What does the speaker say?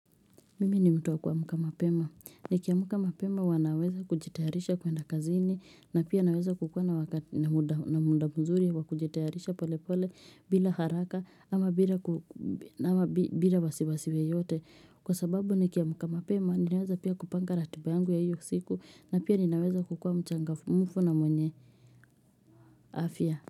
Mimi ni mtu wa kuamka mapema nikiamka mapema wanaweza kujitayarisha kwenda kazini na pia naweza kukua na wakati na muda mzuri ya kujitayarisha pole pole bila haraka ama bila wasiwasi yeyote kwa sababu nikiamka mapema ninaweza pia kupanga ratiba yangu ya hiyo siku na pia ninaweza kukua mchangamfu na mwenye afya.